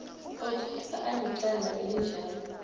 otholwa anecala elinjalo